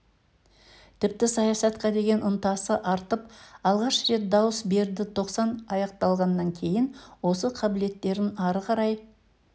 тіпті саясатқа деген ынтасы артып алғаш рет дауыс берді тоқсан аяқталғаннан кейін осы қабілеттерін ары қарай